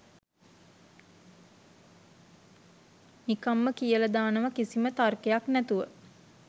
නිකන්ම කියලදානව කිසිම තර්කයක් නැතුව.